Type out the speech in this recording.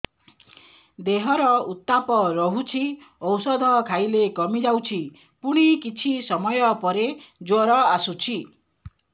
ଦେହର ଉତ୍ତାପ ରହୁଛି ଔଷଧ ଖାଇଲେ କମିଯାଉଛି ପୁଣି କିଛି ସମୟ ପରେ ଜ୍ୱର ଆସୁଛି